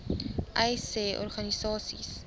uys sê organisasies